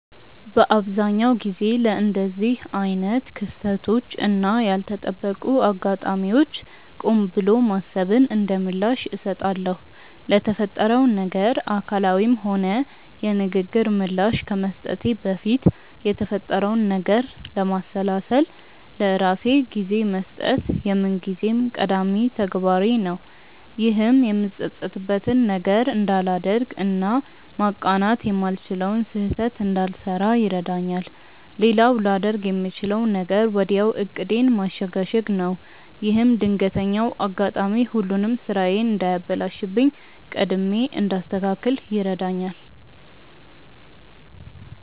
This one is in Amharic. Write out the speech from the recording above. በአብዛኛው ጊዜ ለእንደዚህ አይነት ክስተቶች እና ያልተጠበቁ አጋጣሚዎች ቆም ብሎ ማሰብን እንደምላሽ እሰጣለሁ። ለተፈጠረው ነገር አካላዊም ሆነ የንግግር ምላሽ ከመስጠቴ በፊት የተፈጠረውን ነገር ለማሰላሰል ለራሴ ጊዜ መስጠት የምንጊዜም ቀዳሚ ተግባሬ ነው። ይህም የምጸጸትበትን ነገር እንዳላደርግ እና ማቃናት የማልችለውን ስህተት እንዳልሰራ ይረዳኛል። ሌላው ላደርግ የምችለው ነገር ወዲያው ዕቅዴን ማሸጋሸግ ነው። ይህም ድንገተኛው አጋጣሚ ሁሉንም ስራዬን እንዳያበላሽብኝ ቀድሜ እንዳስተካክል ይረዳኛል።